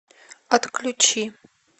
отключи